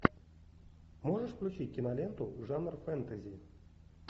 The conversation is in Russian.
можешь включить киноленту жанр фэнтези